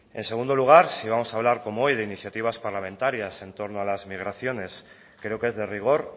en segundo lugar si vamos a hablar como hoy de iniciativas parlamentarias en torno a las migraciones creo que es de rigor